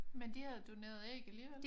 Men de havde doneret æg alligevel?